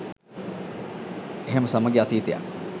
එහෙම සමගි අතීතයක්